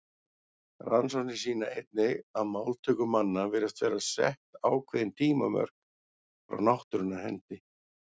Rannsóknir sýna einnig að máltöku manna virðast vera sett ákveðin tímamörk frá náttúrunnar hendi.